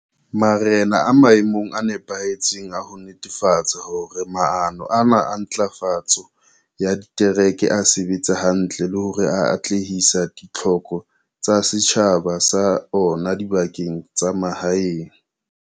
Marena a maemong a nepahetseng a ho netefatsa hore maano ana a ntlafatso ya ditereke a sebetsa hantle le hore a atlehisa ditlhoko tsa setjhaba sa ona dibakeng tsa mahaeng.